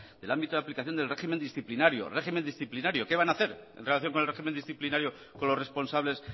el ámbito de aplicación del régimen disciplinario régimen disciplinario qué van a hacer en relación con el régimen disciplinario con los responsables